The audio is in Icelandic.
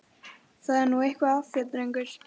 Það er nú eitthvað að þér, drengur!